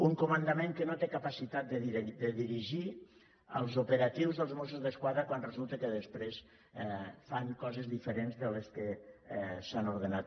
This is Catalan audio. un comandament que no té capacitat de dirigir els operatius dels mossos d’esquadra quan resulta que després fan coses diferents de les que s’han ordenat